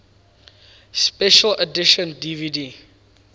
special edition dvd